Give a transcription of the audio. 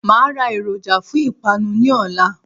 Màá a ra èròjà fún ìpanu ní òla